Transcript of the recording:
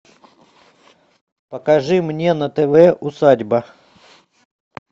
покажи мне на тв усадьба